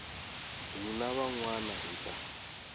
hina van wana hi ta